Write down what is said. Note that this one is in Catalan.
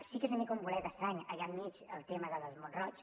sí que és una mica un bolet estrany allà enmig el tema de mont roig